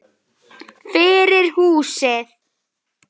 Fyrir húsið.